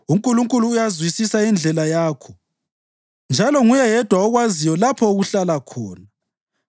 UNkulunkulu uyayizwisisa indlela yakho njalo nguye yedwa okwaziyo lapho okuhlala khona,